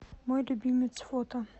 мой любимец фото